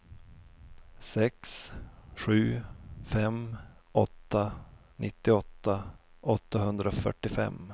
sex sju fem åtta nittioåtta åttahundrafyrtiofem